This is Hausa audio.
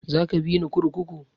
Za ka bini zuwa kurkuku?